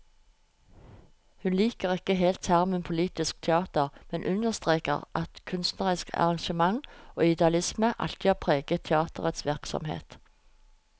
Hun liker ikke helt termen politisk teater, men understreker at kunstnerisk engasjement og idealisme alltid har preget teaterets virksomhet.